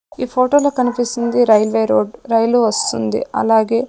ఈ ఫోటోలో కనిపిస్తుంది రైల్వే రోడ్ రైలు వస్తుంది అలాగే--